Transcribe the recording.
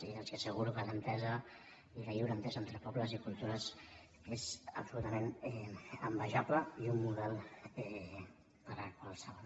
i els asseguro que l’entesa i la lliure entesa entre pobles i cultures és absolutament envejable i un model per a qualsevol